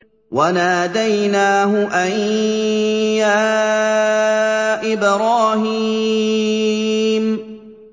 وَنَادَيْنَاهُ أَن يَا إِبْرَاهِيمُ